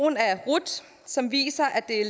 af rut som viser at det er